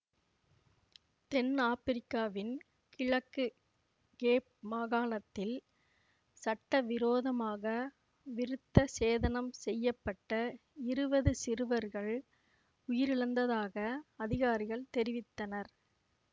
தென்னாப்பிரிக்காவின் கிழக்கு கேப் மாகாணத்தில் சட்டவிரோதமாக விருத்த சேதனம் செய்ய பட்ட இருவது சிறுவர்கள் உயிரிழந்ததாக அதிகாரிகள் தெரிவித்தனர்